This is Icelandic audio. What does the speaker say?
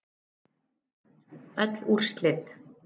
Öll úrslit